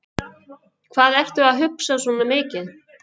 Hvað ertu að hugsa svona mikið?